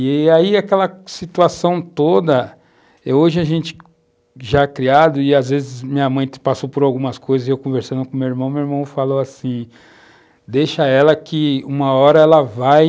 E aí aquela situação toda... Hoje a gente já criado e, às vezes, minha mãe passou por algumas coisas e, eu conversando com meu irmão, meu irmão falou assim, deixa ela que, uma hora, ela vai,